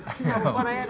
þá bara